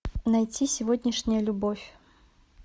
найти сегодняшняя любовь